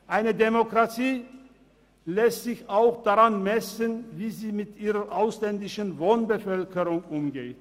Eine Demokratie lässt sich auch daran messen, wie sie mit ihrer ausländischen Wohnbevölkerung umgeht.